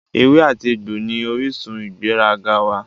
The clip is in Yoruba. Ewé àti egbò ní orísun ìgbéraga wá